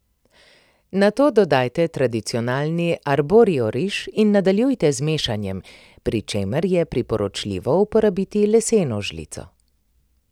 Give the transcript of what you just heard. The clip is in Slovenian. Nato dodajte tradicionalni arborio riž in nadaljujte z mešanjem, pri čemer je priporočljivo uporabiti leseno žlico.